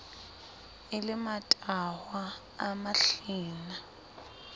e le matahwa a mahlena